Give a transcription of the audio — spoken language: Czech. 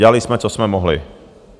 Dělali jsme, co jsme mohli.